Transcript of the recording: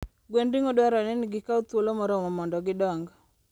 Gwend ring'o dwarore ni gikaw thuolo moromo mondo gidong.